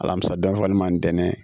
Alamisa dɔ fɔ an m'an dɛn